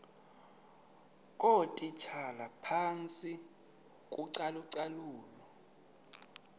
ngootitshala phantsi kocalucalulo